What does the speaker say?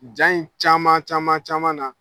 Ja in caman caman caman na